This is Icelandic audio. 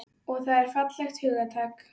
Og það er fallegt hugtak.